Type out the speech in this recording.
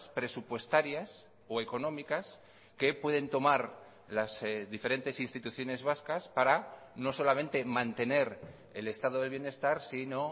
presupuestarias o económicas que pueden tomar las diferentes instituciones vascas para no solamente mantener el estado de bienestar sino